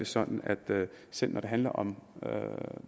sådan at selv når det handler om